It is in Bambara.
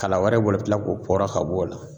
Kala wɛrɛ b'o la i bɛ kila k'o fɔra ka bɔ o la